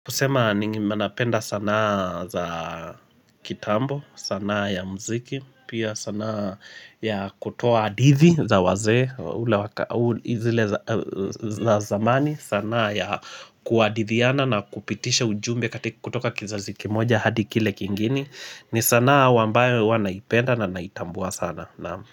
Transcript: Kusema ni manapenda sanaa za kitambo, sanaa ya mziki, pia sanaa ya kutoa adithi za wazee, ule waka, ule zile za za zamani, sanaa ya kuadithiana na kupitisha ujumbe katika kutoka kizazi kimoja hadi kile kingini, ni sanaa wambayo huwa naipenda na naitambua sana naam.